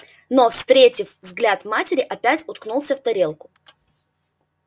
но встретив взгляд матери опять уткнулся в тарелку